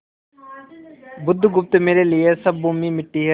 बुधगुप्त मेरे लिए सब भूमि मिट्टी है